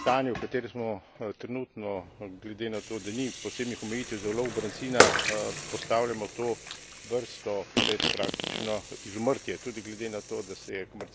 Mislim, da stanje, v katerem smo trenutno, glede na to, da ni posebnih omejitev za ulov brancina, postavljamo to vrsto pred praktično izumrtje.